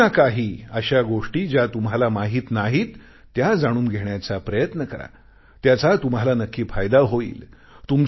काही ना काही अशा गोष्टी ज्या तुम्हाला माहित नाहीत त्या जाणून घेण्याचा प्रयत्न करा त्याचा तुम्हाला नक्की फायदा होईल